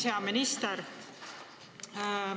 Hea minister!